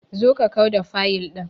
Zo ka kau da duka fayil ɗin.